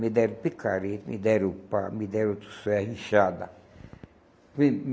Me deram picareta, me deram pá, me deram ferro, enxada. Me